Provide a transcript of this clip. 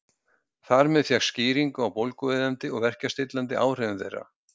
Þar með fékkst skýring á bólgueyðandi og verkjastillandi áhrifum þeirra.